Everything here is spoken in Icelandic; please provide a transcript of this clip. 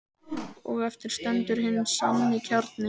Og eftir stendur hinn sanni kjarni.